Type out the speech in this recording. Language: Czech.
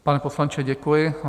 Pane poslanče, děkuji.